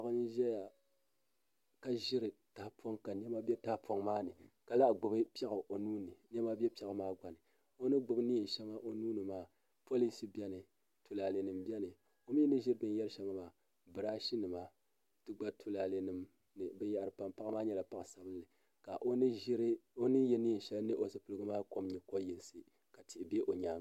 Paɣa n ʒɛya ka ʒiri tahapoŋ ka niɛma bɛ tahapoŋ maa ni ka lahi gbubi piɛɣu o nuuni ka niɛma bɛ piɛɣu maa gba ni o ni gbubi neen shɛŋa o nuuni maa polish biɛni tulaalɛ nim biɛni o mii ni ʒiri bbinshɛŋa maa birash nima n ti pahi tulaalɛ nima paɣa maa nyɛla paɣa sabinli ka o ni yɛ neen shɛli mini o zipiligu maa kom nyɛ ko yinsi ka tihi bɛ o nyaanga